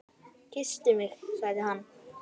Kysstu mig sagði hann.